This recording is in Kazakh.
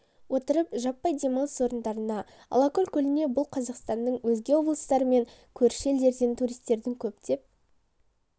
отырып жаппай демалыс орындарына алакөл көліне бұл қазақстанның өзге облыстары мен көрші елдерден туристердің көптеп